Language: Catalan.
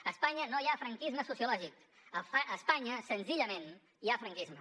a espanya no hi ha franquisme sociològic a espanya senzillament hi ha franquisme